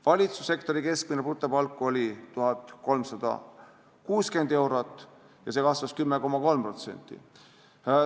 Valitsussektori keskmine brutopalk oli 1360 eurot ja see kasvas 10,3%.